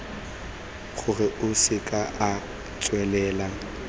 gore a seke a tswelela